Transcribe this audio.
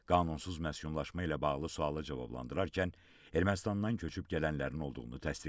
Qanunsuz məskunlaşma ilə bağlı suala cavablandırarkən Ermənistandan köçüb gələnlərin olduğunu təsdiqlədi.